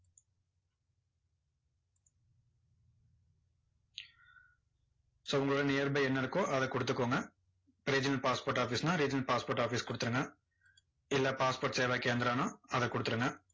so உங்களோட nearby என்ன இருக்கோ, அதை கொடுத்துக்கோங்க regional passport office ன்னா regional passport office கொடுத்துருங்க. இல்ல passport சேவா கேந்த்ரான்னா அதை கொடுத்துருங்க.